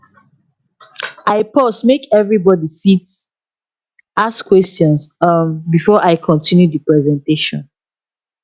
i pause make everybody fit ask question um before i continue the presentation